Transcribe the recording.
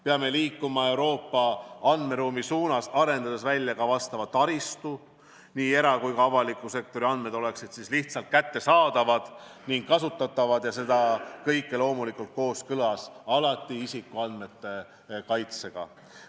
Peame liikuma Euroopa andmeruumi suunas, arendades välja taristu, et nii era- kui ka avaliku sektori andmed oleksid lihtsalt kättesaadavad ning kasutatavad ja seda kõike loomulikult alati kooskõlas isikuandmete kaitsega.